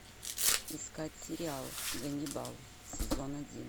искать сериал ганнибал сезон один